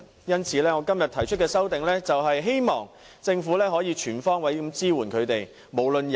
因此，我今天提出的修正案，是促請政府全方位支援他們。